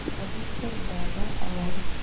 अधिकतर दादा और